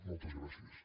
moltes gràcies